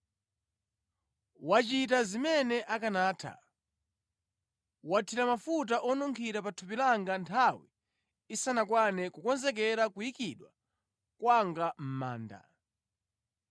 Wachita zimene akanatha. Wathira mafuta onunkhira pa thupi langa nthawi isanakwane kukonzekera kuyikidwa kwanga mʼmanda.